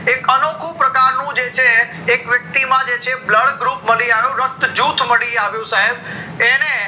એક અનોખું પ્રકાર નું છે એક વ્યક્તિ માં જે છે blood group મળી આવ્યું રક્ત જૂથ મળી આવ્યું સાહેબ એને